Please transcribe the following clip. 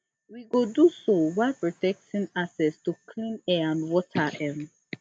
we go do so while protecting access to clean air and water um